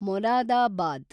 Moradabad